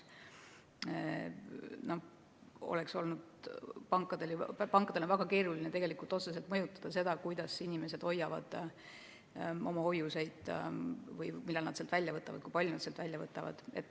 Pankadel on väga keeruline otseselt mõjutada seda, kuidas inimesed hoiavad oma hoiuseid või millal ja kui palju nad raha välja võtavad.